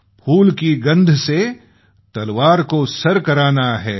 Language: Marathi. फूल की गंध से तलवार को सर करना है